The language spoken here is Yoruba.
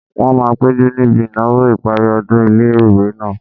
Wọ́n máa péjú níbi ìnáwó ìparí ọdún ilé-ìwé náà